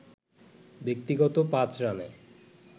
ব্যক্তিগত ৫ রানে